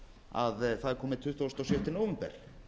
að það er kominn tuttugasta og sjötta nóvember